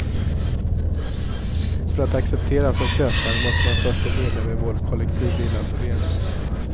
För att accepteras som köpare måste man först bli medlem i vår kollektivvillaförening.